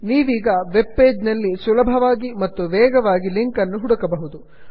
ನೀವೀಗ web page ನಲ್ಲಿ ಸುಲಭವಾಗಿ ಮತ್ತು ವೇಗವಾಗಿ ಲಿಂಕ್ ಅನ್ನು ಹುಡುಕಬಹುದು